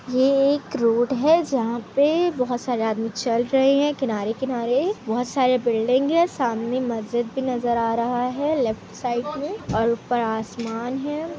ये एक रोड है जहां पे बहुत सारे आदमी चल रहे है किनारे-किनारे बहुत सारे बिल्डिंग है सामने मस्जिद भी नजर आ रहा है लेफ्ट साइड में और ऊपर आसमान है।